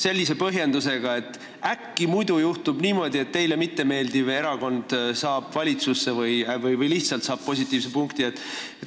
Sellise põhjendusega, et äkki muidu juhtub niimoodi, et teile mittemeeldiv erakond saab valitsusse või lihtsalt positiivse punkti.